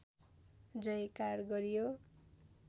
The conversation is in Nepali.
जयकार गरियो